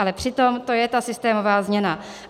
Ale přitom to je ta systémová změna.